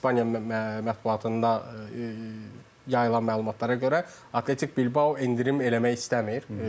İspaniya mətbuatında yayılan məlumatlara görə Atletico Bilbao endirim eləmək istəmir.